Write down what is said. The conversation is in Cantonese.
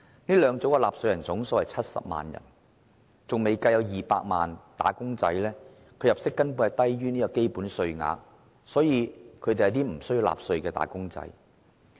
這兩組納稅人的總數是70萬人，另有200萬名"打工仔"的入息低於基本免稅額，無須納稅。